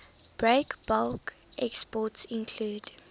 breakbulk exports include